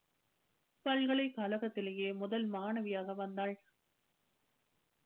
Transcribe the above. பல்கலைக்கழகத்திலேயே முதல் மாணவியாக வந்தாள்.